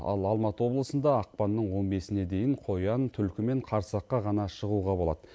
ал алматы облысында ақпанның он бесіне дейін қоян түлкі мен қарсаққа ғана шығуға болады